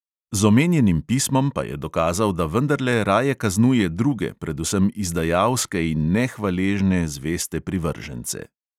Z omenjenim pismom pa je dokazal, da vendarle raje kaznuje druge, predvsem izdajalske in nehvaležne zveste privržence.